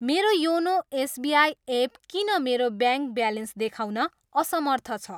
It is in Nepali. मेरो योनो एसबिआई एप किन मेरो ब्याङ्क ब्यालेन्स देखाउन असमर्थ छ?